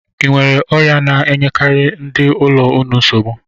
E nwere ọrịa na-enyekarị ndị ụlọ unu nsogbu?